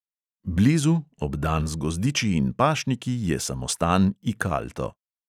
Blizu, obdan z gozdiči in pašniki je samostan ikalto.